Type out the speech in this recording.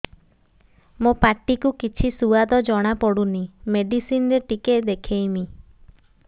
ମୋ ପାଟି କୁ କିଛି ସୁଆଦ ଜଣାପଡ଼ୁନି ମେଡିସିନ ରେ ଟିକେ ଦେଖେଇମି